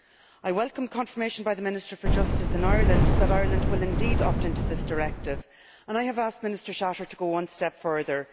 I welcome confirmation by the Minister for Justice in Ireland that Ireland will indeed opt into this directive and I have asked Minister Shatter to go one step further.